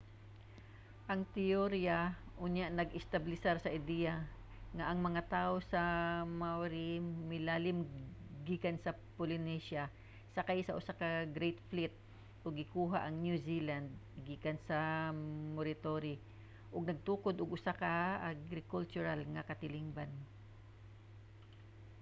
ang teorya unya nag-establisar sa ideya nga ang mga tawo nga maori milalin gikan sa polynesia sakay sa usa ka great fleet ug gikuha ang new zealand gikan sa moriori ug nagtukod og usa ka agrikultural nga katilingban